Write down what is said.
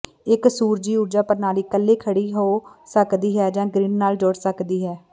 ਇੱਕ ਸੂਰਜੀ ਊਰਜਾ ਪ੍ਰਣਾਲੀ ਇਕੱਲੇ ਖੜ੍ਹੀ ਹੋ ਸਕਦੀ ਹੈ ਜਾਂ ਗਰਿੱਡ ਨਾਲ ਜੁੜ ਸਕਦੀ ਹੈ